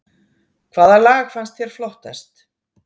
Hvaða lag fannst þér flottast